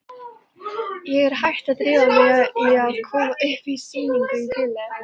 Ég er hætt við að drífa mig í að koma upp sýningu í bili.